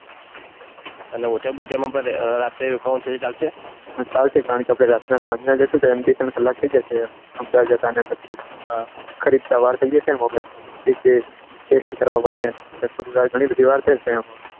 અને હોટેલ માં રાતે રોકાવાનું થશે ચાલશે હા ચાલશે કારણકે આપડે રાત ના સાંજ ના જસો તો બે ત્રણ કલાક થઈ જશે અમદાવાદના ખરીદતા વાર થઈ જશે એબે સ્પષ્ટ કરવામાં ઘણી બઘી વાર થશે એમાં